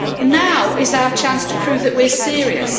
Now is our chance to prove that we are serious.